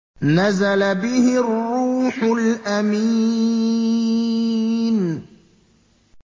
نَزَلَ بِهِ الرُّوحُ الْأَمِينُ